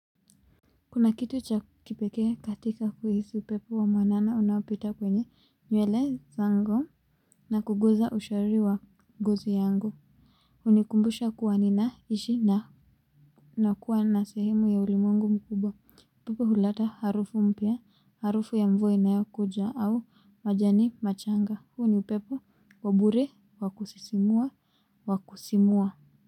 Kuna kitu cha kipekee katika kuhisi upepo wa mwanana unaopita kwenye nywele zangu na kuguza ushariri wa ngozi yangu. Hunikumbusha kuwa ninaishi na nakuwa na sehemu ya ulimwengu mkubwa. Upepo huleta harufu mpya harufu ya mvua inayokuja au majani machanga huu ni upepo wa bure wa kusisimua wa kusimua.